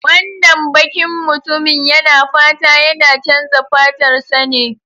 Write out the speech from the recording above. Wannan bakin mutumin yana fata yana chanza fatarsa ne?